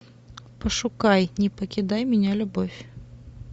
пошукай не покидай меня любовь